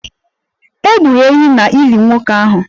E gburu ehi n'ili nwoke ahụ?